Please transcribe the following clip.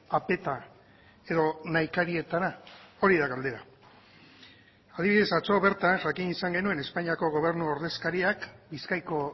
apeta edo nahikarietara hori da galdera adibidez atzo bertan jakin izan genuen espainiako gobernu ordezkariak bizkaiko